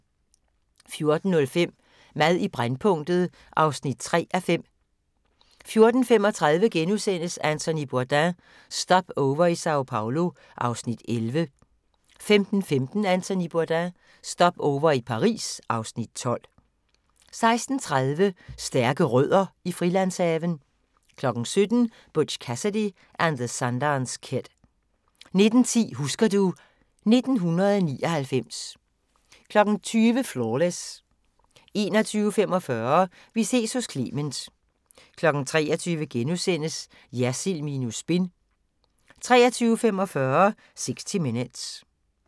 14:05: Mad i brændpunktet (3:5) 14:35: Anthony Bourdain – Stopover i Sao Paolo (Afs. 11)* 15:15: Anthony Bourdain – Stopover i Paris (Afs. 12) 16:30: Stærke Rødder i Frilandshaven 17:00: Butch Cassidy and the Sundance Kid 19:10: Husker du ... 1999 20:00: Flawless 21:45: Vi ses hos Clement 23:00: Jersild minus spin * 23:45: 60 Minutes